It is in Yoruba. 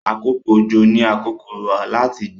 àkókò ojo ní àkókò láti gbìn.